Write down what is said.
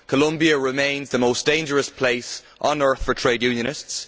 Colombia remains the most dangerous place on earth for trade unionists.